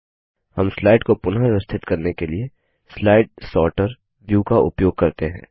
हम स्लाइड को पुनःव्यवस्थित करने के लिए स्लाइड सॉर्टर व्यू का उपयोग करते हैं